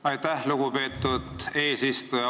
Aitäh, lugupeetud eesistuja!